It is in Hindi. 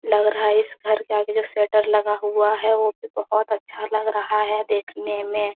लग रहा है इस घर के आगे जो शेटर लगा हुआ है वह भी बहुत अच्छा लग रहा है देखने में।